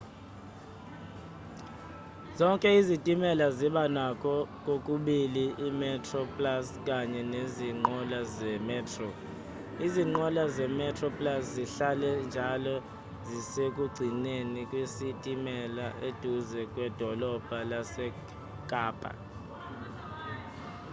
zonke izitimela ziba nakho kokubili i-metroplus kanye nezinqola ze-metro izinqola ze-metroplus zihlale njalo zisekugcineni kwesitimela eduze kwedolobha lase-kappa